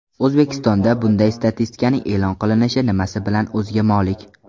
O‘zbekistonda bunday statistikaning e’lon qilinishi nimasi bilan o‘ziga molik?